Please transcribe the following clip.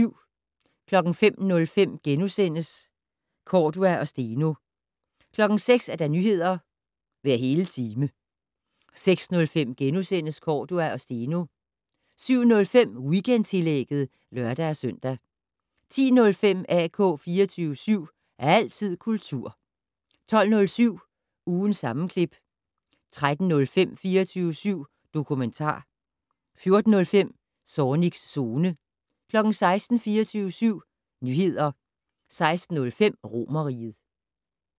05:05: Cordua og Steno * 06:00: Nyheder hver hele time 06:05: Cordua og Steno * 07:05: Weekendtillægget (lør-søn) 10:05: AK 24syv. Altid kultur 12:07: Ugens sammenklip 13:05: 24syv dokumentar 14:05: Zornigs Zone 16:00: 24syv Nyheder 16:05: Romerriget